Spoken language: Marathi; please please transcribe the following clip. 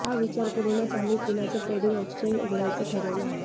हा विचार करूनच आम्ही पुण्याचं ट्रेडिंग एक्स्चेंज उघडायचं ठरवलं आहे